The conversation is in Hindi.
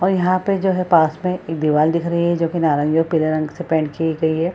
और यहाँ पे जो है पास में एक दीवाल दिख रही है जोकि नारंगी और पीले रंग से पेंट की गई है।